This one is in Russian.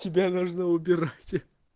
тебе нужно убирать